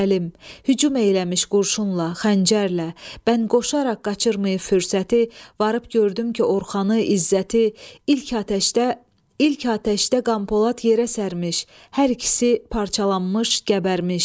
Hücum eləmiş gülləylə xəncərlə, mən qoşaraq qaçırmağa fürsəti, varıb gördüm ki, Orxanı, İzzəti ilk atəşdə Qanpolad yerə sərmiş, hər ikisi parçalanmış, qəbərmiş.